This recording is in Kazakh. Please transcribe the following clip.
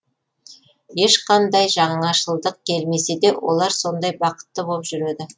ешқандай жаңашылдық келмесе де олар сондай бақытты боп жүреді